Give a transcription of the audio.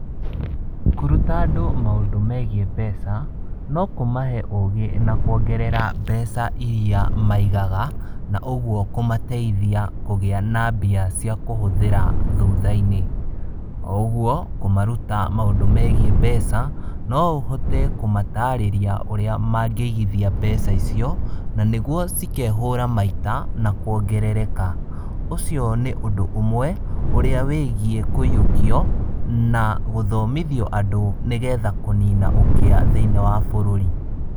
Kũruta andũ maũndũ megiĩ mbeca, no kũmahe ũgĩ na kuongerera mbeca iria maigaga, na ũguo kũmateithia kũgĩa na mbia cia kũhũthĩra thutha-inĩ. O ũguo kũmaruta maũndũ megiĩ mbeca, no ũhote kũmatarĩria ũrĩa mangĩigithia mbeca icio na nĩguo cikehũra maita na kuongerereka. Ũcio nĩ ũndũ ũmwe ũrĩa wĩgiĩ kũyũkio na gũthomithio andũ, nĩgetha kũnina ũkĩa thĩiniĩ wa bũrũri.